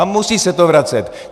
A musí se to vracet.